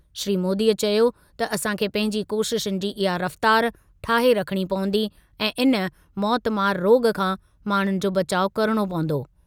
श्री मोदीअ चयो त असां खे पंहिंजी कोशिशुनि जी इहा रफ़्तार ठाहे रखणी पवंदी ऐं इन मौतमार रोॻ खां माण्हुनि जो बचाउ करिणो पवंदो।